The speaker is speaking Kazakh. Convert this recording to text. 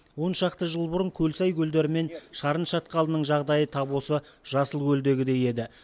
оншақты жыл бұрын көлсай көлдері мен шарын шатқалының жағдайы тап осы жасылкөлдегідей еді